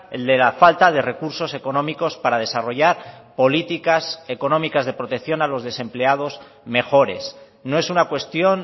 el de la falta de recursos económicos para desarrollar políticas económicas de protección a los desempleados mejores no es una cuestión